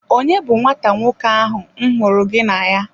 Onye bu nwata nwoke ahụ m hụrụ gị na ya?